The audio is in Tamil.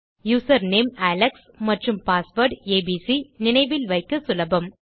யூசர் நேம் அலெக்ஸ் மற்றும் பாஸ்வேர்ட் ஏபிசி நினைவில் வைக்க சுலபம்